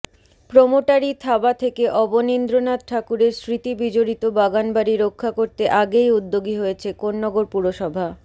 প্রোমোটারি থাবা থেকে অবনীন্দ্রনাথ ঠাকুরের স্মৃতিবিজড়িত বাগানবাড়ি রক্ষা করতে আগেই উদ্যোগী হয়েছে কোন্নগর পুরসভা